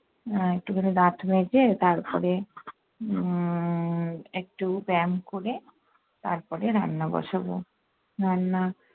আহ একেবারে দাঁত মেজে, তারপরে উম একটু ব্যায়াম করে তারপরে রান্না বসাবো। রান্না-